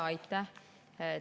Aitäh!